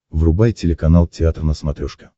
врубай телеканал театр на смотрешке